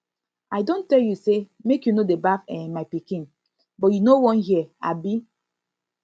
i don tell you say make you no dey baff um my pikin but you no wan hear um